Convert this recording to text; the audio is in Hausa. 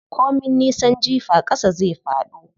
Ko min nisan jifa ƙasa zai faɗo.